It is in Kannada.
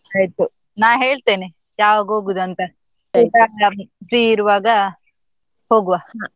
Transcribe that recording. ಆಯ್ತು ನಾ ಹೇಳ್ತೇನೆ ಯಾವಾಗ ಹೋಗುದ್ ಅಂತ free ಇರುವಾಗ ಹೋಗುವ.